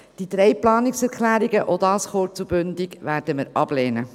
Die drei Planungserklärungen – auch dies kurz und bündig – werden wir ablehnen.